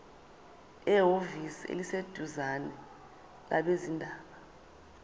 ehhovisi eliseduzane labezindaba